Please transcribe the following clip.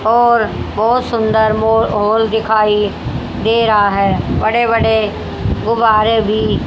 और बोहोत सुंदर मॉल और दिखाई दे रहा है बड़े बड़े गुब्बारे भी--